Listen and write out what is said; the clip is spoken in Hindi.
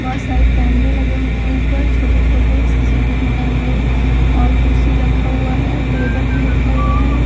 बहुत सारे कैमरे लगे हुए हैंऊपर छोटे-छोटे सीसीटीवी कैमरे और कुर्सी रखा हुआ है टेबल भी रखा हुआ है।